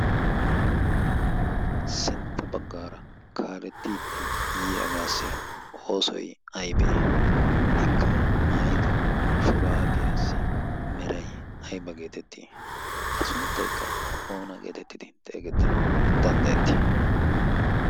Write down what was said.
sintta baggaara kaalettiiddi yiyagaassi oosoi aibee? ikka maayido shuraabiyaassi merai aiba geetettii? a sunttaikka oona geetettidi xeegettanawu danddayettii?